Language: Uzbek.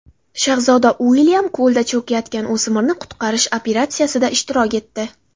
Shahzoda Uilyam ko‘lda cho‘kayotgan o‘smirni qutqarish operatsiyasida ishtirok etdi.